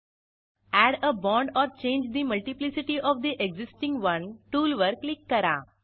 add a bond or change the multiplicity of the existing one टूलवर click करा